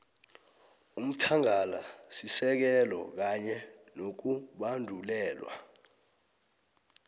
umthangalasisekelo kanye nokubandulelwa